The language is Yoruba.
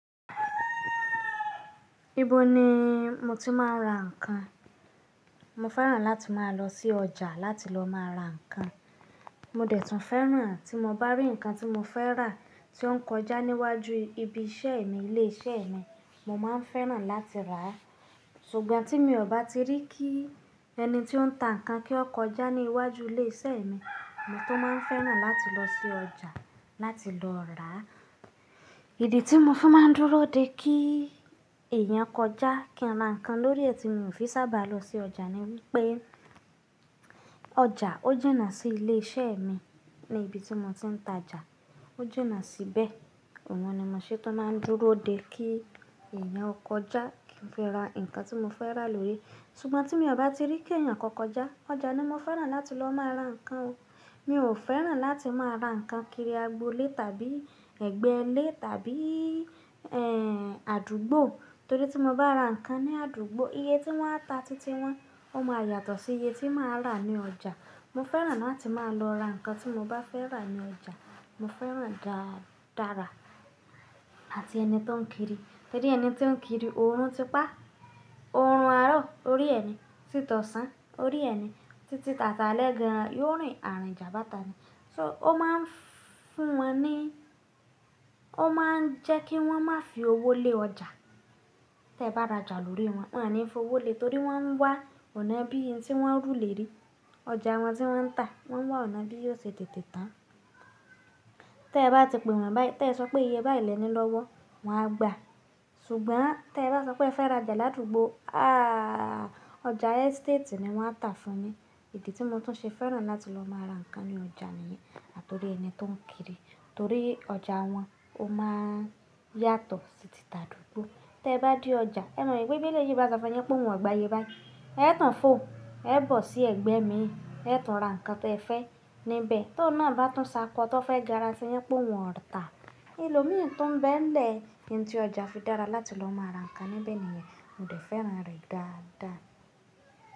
Ibo ni mo ti máa ń ra ǹkan? Mo fẹ́ràn láti máa lọ sí ọjà láti lọ máa ra ǹkan. Mo dẹ̀ tún fẹ́ràn tí mo bá rí ǹkan tí mo fẹ́ rà, tí ó ń kọjá níwájú ibi iṣẹ́ mi, ilé iṣẹ́ mi, mo máa ń fẹ́ràn láti rà á. Ṣùgbọ́n tí mi ò bá ti rí kí ẹni tí ó ń ta ǹkan kí ó kọjá ní iwájú ilé iṣẹ́ mi, mo tún máa ń fẹ́ràn láti lọ sí ọjà láti lọ rà á. Ìdí tí mo fi máa ń dúró de kí èèyàn kọjá kí n ra ǹkan lórí ẹ́ tí mio fi n sábà lọ sí ọjà ni wípé ọjà ó jìnà sí ilé iṣẹ́ mi ni ibi tí mo ti ń tajà. Ó jìnà síbẹ̀. Òun ni mo ṣe tún máa ń dúró de kí èèyàn ó kọjá kí n fi ra ǹkan tí mo fẹ́ rà lórí. Ṣùgbọ́n tí mi ò bá ti rí kí eeyàn kan kọ́ kọjá, ọjà ni mo fẹ́ràn láti lọ máa ra ǹkan o. Mi ò fẹ́ràn láti máa ra ǹkan kiri agbo ilé tàbí ẹgbẹ́ ilé tàbí, ẹ́ẹ́, àdúgbò. Torí tí mo bá ra ǹkan ní àdúgbò, iye tí wọ́n a ta títí wọ́n, ó máa yàtọ̀ sí iye tí máa rà ní ọjà. Mo fẹ́ràn láti máa lọ ra ǹkan tí mo bá fẹ́ rà ní ọjà. Mo fẹ́ràn dáadára àti ẹni tó ń kiri. Torí ẹni tó ń kiri, òórùn ti pa, òórùn arọ, o rí ẹni, títí ọ̀sán, o rí ẹni, títí ti aṣalẹ gan, yóò rìn àrìnjà báta ni. So ó máa ń fún wọn ní-- ó máa ń jẹ́ kí wọ́n má fi owó lé ọjà. Tẹ bá rajà lórí wọn, wọn o ní f'owó lé, torí wọ́n ń wá ọ̀nà bí n tí wọ́n ru lé rí. Ọjà wọn tí wọ́n ń tà, wọ́n ń wá ọ̀nà bí yóò ṣe tètè tán. Tí ẹ bá ti pe wọ́n báyìí, ti ẹ sọ pé iye báyìí lẹ́ni lọ́wọ́, wọn á gba. Ṣùgbọ́n tẹ bá sọ pé ẹ fẹ́ rajà ládùúgbò, ahhh, ọjà estate ni wọ́n a tà fún ni. Ìdí tí mo tún ṣe fẹ́ràn láti lọ máa ra ǹkan ní ọjà nìyẹn. Torí ẹni tó ń kiri. Torí ọjà wọn ó máa ń yàtọ̀ sí tìti àdúgbò. Tẹ bá dé ọjà, ẹ mọ wí pé bí eléyìí bá ṣọ funyin wípé òun o gba iye báyìí, ẹ tun fó, ẹ bọ̀ sí ẹgbẹ́ mi, ẹ tun ra ǹkan tí ẹ fẹ́ níbẹ̀. Tó un náà bá tún ṣákọ tó fẹ́ gara sí yin wipé òun ò tà. Elòmíì tún ń bẹ nílẹ̀, ohun tí ọjà fi dára láti lọ máa ra ǹkan níbẹ̀ nìyẹn. Mo dẹ̀ fẹ́ràn rẹ̀ dáadáa.